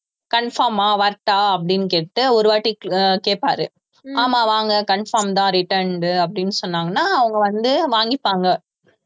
confirm ஆ வரட்டா அப்படின்னு கேட்டு ஒரு வாட்டி அஹ் கேப்பாரு ஆமா வாங்க confirm தான் returned அப்படின்னு சொன்னாங்கன்னா அவங்க வந்து வாங்கிப்பாங்க